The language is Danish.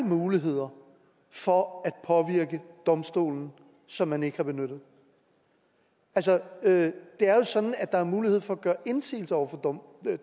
muligheder for at påvirke domstolen som man ikke har benyttet det er jo sådan at der er mulighed for at gøre indsigelser over for